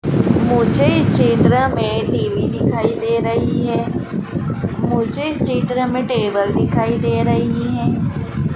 मुझे इस चित्र में टी_वी दिखाई दे रही है मुझे इस चित्र में टेबल दिखाई दे रही हैं।